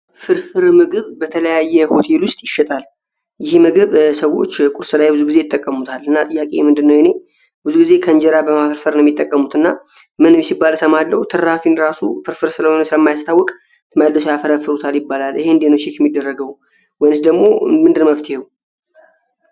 ፍርፍር ምግብ በተለያየ ሆቴል ውስጥ ይሸጣል። ይህ ምግብ ሰዎች ቁርስ ላይ ብዙ ጊዜ ይጠቀሙታል እና ጥያቄ ምንድነው የእኔ ብዙ ጊዜ ከእንጀራ በማፈርፈርን የሚጠቀሙት እና ምንም ሲባለሰማለው ትራፊን ራሱ ፍርፍር ስለሆነ ስለ ማያሰታውቅ ተመለሱ ያፈረፍሩታል ይባላል። ይህን ምንድነው የሚደረገው ወንስ ደግሞ ምንድን መፍቴው?